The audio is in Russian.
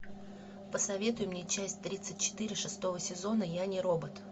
посоветуй мне часть тридцать четыре шестого сезона я не робот